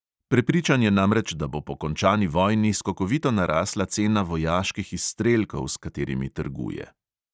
Prepričan je namreč, da bo po končani vojni skokovito narasla cena vojaških izstrelkov, s katerimi trguje.